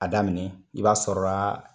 A daminɛ, i b'a sɔra